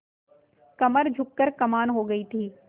कमर झुक कर कमान हो गयी थी